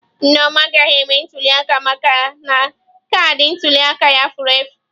Nneoma agaghị eme ntuliaka maka na kaadị ntuli aka ya furu efụ.